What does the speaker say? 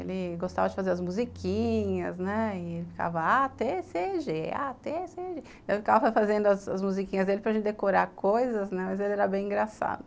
Ele gostava de fazer as musiquinhas e ele ficava A, T, C, G, A, T, C, G. Eu ficava fazendo as musiquinhas dele para a gente decorar coisas, mas ele era bem engraçado.